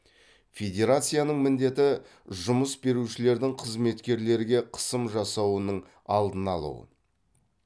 федерацияның міндеті жұмыс берушілердің қызметкерлерге қысым жасауының алдын алу